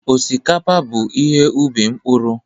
Osikapa bụ ihe ubi mkpụrụ.